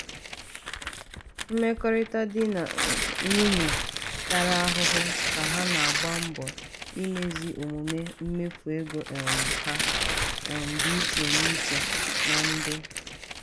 mmekọrịta di na nwunye tara ahụhụ ka ha na-agba mbọ imezi omume mmefu ego um ha um dị iche iche na ndị.